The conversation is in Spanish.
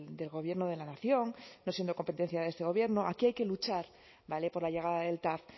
del gobierno de la nación no siendo competencia de este gobierno aquí hay que luchar vale por la llegada del tav